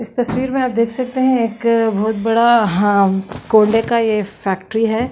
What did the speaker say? इस तस्वीर में आप देख सकते हैं एक बहोत बड़ा हाँ का फैक्ट्री है।